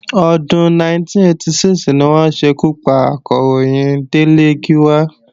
Ọdún 1986 ni wọ́n ṣekú pa Akọ̀ròyìn Délé Gíwá